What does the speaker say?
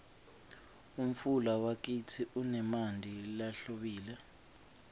umfula wakitsi unemanti lahlobile